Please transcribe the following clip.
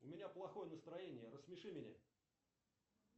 у меня плохое настроение рассмеши меня